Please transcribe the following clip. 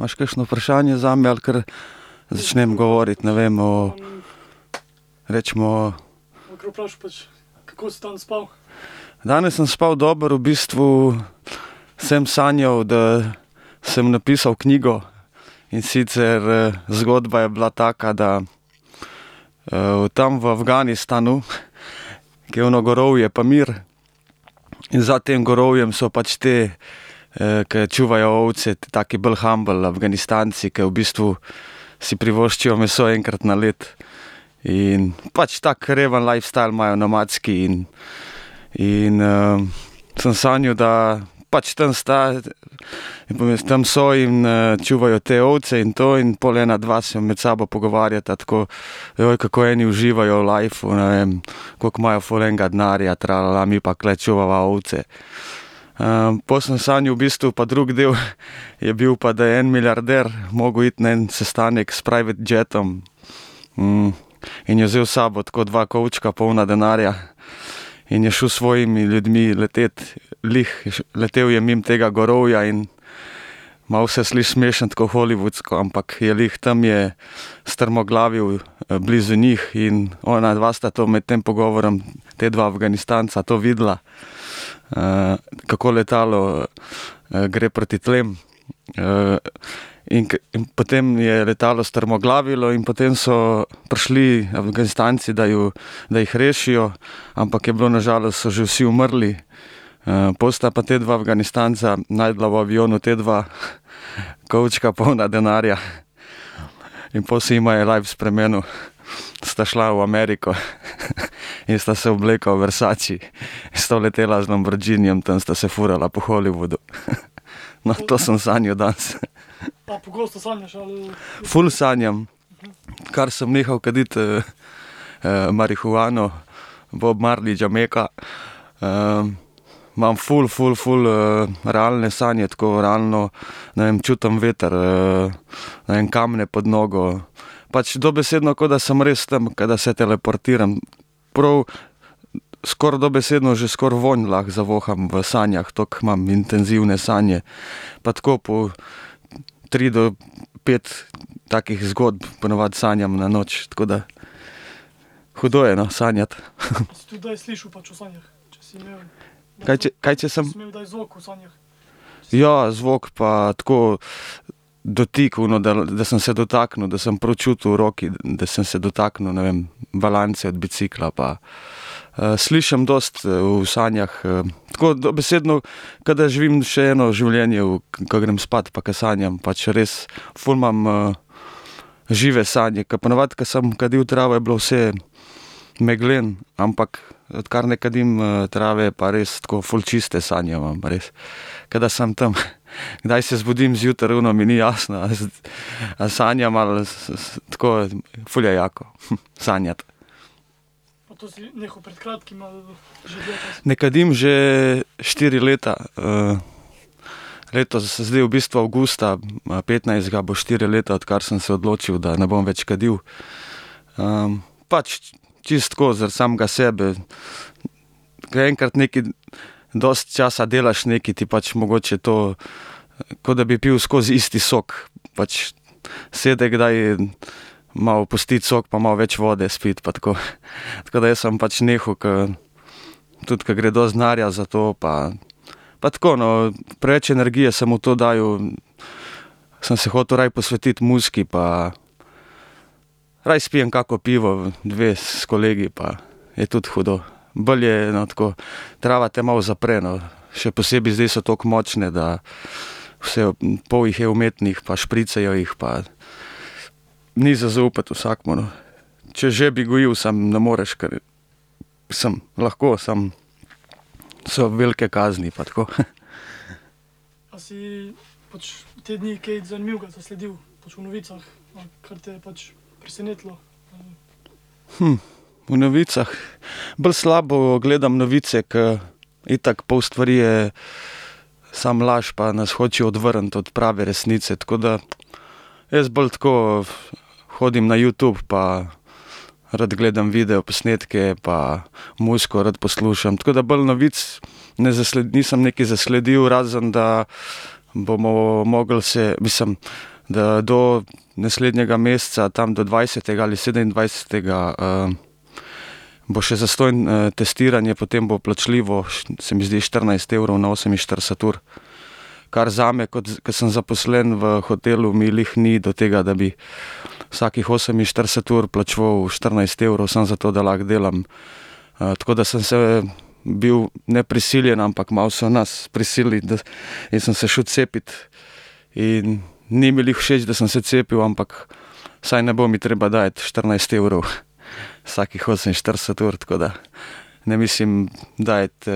Imaš kakšno vprašanje zame ali kar začnem govoriti, ne vem, o recimo ... Danes sem spal dobro. V bistvu sem sanjal, da sem napisal knjigo, in sicer, zgodba je bila taka, da, tam v Afganistanu, ke je ono gorovje Pamir, in za tem gorovjem so pač ti, ke čuvajo ovce, taki bolj humble Afganistanci, ke v bistvu si privoščijo meso enkrat na leto. In pač tak reven lifestyle imajo, nomadski, in, in, sem sanjal, da pač tam sta, tam so in, čuvajo te ovce in to in pol ena dva se med sabo pogovarjata tako: kako eni uživajo v lajfu, ne vem, koliko imajo ful enega denarja, mi pa tule čuvava ovce." pol sem sanjal v bistvu pa drug del, je bil pa, da je en milijarder mogel iti na en sestanek s private jetom, in je vzel s sabo tako dva kovčka, polna denarja. In je šel s svojimi ljudmi letet. Glih, je letelo je mimo tega gorovja in, malo se sliši smešno, tako hollywoodsko, ampak je glih tam je strmoglavil blizu njih in onadva sta to med tem pogovorom, ta dva Afganistanca, to videla, kako letalo, gre proti tlom. in potem je letalo strmoglavilo in potem so prišli Afganistanci, da ju, da jih rešijo, ampak je bilo, na žalost so že vsi umrli. pol sta pa ta dva Afganistanca našla v avionu ta dva kovčka, polna denarja. In pol se jima je life spremenil. Sta šla v Ameriko in sta se oblekla v Versace. In sta vletela z lamborghinijem tam, sta se furala po Hollywoodu. No, to sem sanjal danes. Ful sanjam. Kar sem nehal kaditi, marihuano, Bob Marley, Jamaica, imam ful, ful, ful, realne sanje, tako realno, ne vem, čutim veter, ne vem, kamne pod nogo. Pač dobesedno, ko da sem res tam, ke da se teleportiram. Prav skoraj dobesedno že skoraj vonj lahko zavoham v sanjah, tako imam intenzivne sanje. Pa tako po tri do pet takih zgodb po navadi sanjam na noč, tako da ... Hudo je, no, sanjati. Kaj kaj če sem? Ja, zvok pa tako, dotik, ono, da da sem se dotaknil, da sem prav čutil v roki, da sem se dotaknil, ne vem, balance od bicikla pa, slišim dosti v sanjah, Tako, dobesedno ke da živim še eno življenje v ke grem spat pa ke sanjam, pač res, ful imam, žive sanje. Ke po navadi, ke sem kadil travo, je bilo vse megleno, ampak odkar ne kadim, trave, pa res tako, ful čiste sanje imam, res. Ke da sem tam. Kdaj se zbudim zjutraj, ono, mi ni jasno, a sanjam ali tako, ful je jako. sanjati. Ne kadim že štiri leta. letos, zdaj v bistvu avgusta, petnajstega bo štiri leta, odkar sem se odločil, da ne bom več kadil. pač čisto tako, zaradi samega sebe. Ke enkrat nekaj dosti časa delaš nekaj, ti pač mogoče to, ko da bi pil skozi isti sok, pač sede kdaj malo pustiti sok pa malo več vode spiti pa tako. Tako da jaz sem pač nehal, ke tudi, ke gre dosti denarja za to pa, pa tako, no, preveč energije sem v to dajal, sem se hotel raje posvetiti muziki pa ... Raje spijem kako pivo, dve s kolegi pa je tudi hudo. Bolje je, no, tako, trava te malo zapre, no. Še posebej zdaj so tako močne, da vse pol jih je umetnih pa špricajo jih pa ni za zaupati vsakemu, no. Če že, bi gojil, samo ne moreš, ker, mislim, lahko, samo so velike kazni pa tako, V novicah. Bolj slabo gledam novice, ke itak pol stvari je samo laž pa nas hočejo odvrniti od prave resnice. Tako da jaz bolj tako, hodim na Youtube pa rad gledam videoposnetke pa muziko rad poslušam. Tako da bolj novic ne nisem nekaj zasledil, razen da bomo mogli se, mislim, d do naslednjega meseca, tam do dvajsetega ali sedemindvajsetega, bo še zastonj, testiranje, potem bo plačljivo, se mi zdi štirinajst evrov na oseminštirideset ur, kar zame kot, ke sem zaposlen v hotelu, mi glih ni do tega, da bi vsakih oseminštirideset ur plačeval štirinajst evrov samo zato, da lahko delam. tako da sem se bil, ne prisiljen, ampak malo so nas prisilili, da, in sem se šel cepit. In ni mi glih všeč, da sem se cepil, ampak vsaj ne bo mi treba dajati štirinajst evrov vsakih oseminštirideset ur, tako da ne mislim dajati,